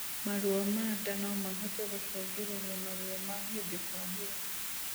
mathĩna ma ndaa nomahote gũcũngĩrĩrĩa maruo ma hĩndĩ kwa hĩndĩ